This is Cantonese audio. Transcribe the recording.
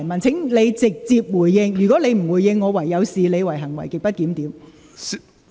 請你直接回應，如果你不回應，我會視之為行為極不檢點。